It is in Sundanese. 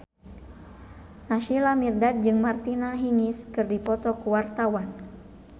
Naysila Mirdad jeung Martina Hingis keur dipoto ku wartawan